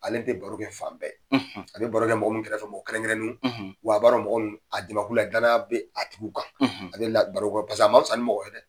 Ale tɛ barokɛ fan bɛɛ; a bɛ barokɛ mɔgɔ mun kɛrɛfɛ fɛ, mɔgɔ kɛrɛn kɛrɛnnew; wa a ba don mɔgɔ; a dimakulu a ye danaya bɛ a tigiw kan; ale la baro paseke a ma fisa ni mɔgɔ ye dɛ